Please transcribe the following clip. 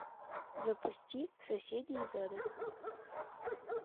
запусти соседи из ада